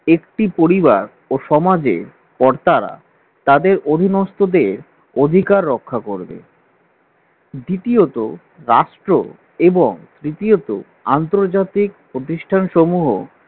একটি পরিবার ও সমাজে কর্তারা তাদের অধীনস্থদের অধিকার রক্ষা করবে, দ্বিতীয়তঃ রাষ্ট্র এবং তৃতীয়তঃ আন্তর্জাতিক প্রতিষ্ঠান সমূহ